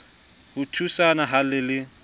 a thusana ha le le